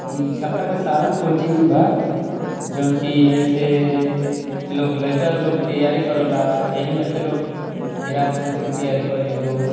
इ छपरा के सारंग कोचिंग बा जोन की ए से लइका लोग तैयारी कराला अहि में से लोग बिहार पुलिस के तैयारी करीलो।